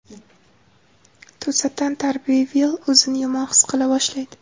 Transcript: To‘satdan Tarbervill o‘zini yomon his qila boshlaydi.